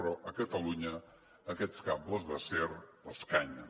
però a catalunya aquests cables d’acer l’escanyen